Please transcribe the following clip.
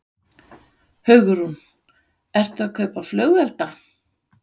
Hugrún: Ert þú að kaupa flugelda?